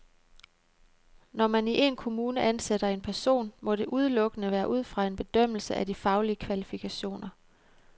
Når man i en kommune ansætter en person, må det udelukkende være ud fra en bedømmelse af de faglige kvalifikationer.